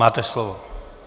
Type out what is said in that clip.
Máte slovo.